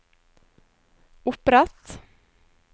opprett